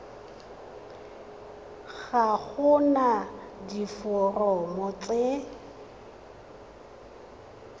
ga go na diforomo tse